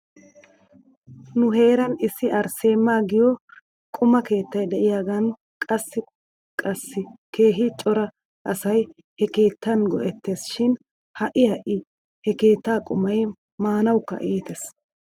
Nu heeran issi arseemaa giyoo quma keettay de'iyaagan kase kase keehi cora asay he keettaan go'ettes shi ha'i ha'i he keettaa qumay maanawkka iites.